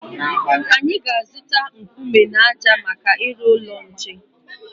Anyị ga-aga zụta nkume na ájá maka ịrụ ụlọ nche.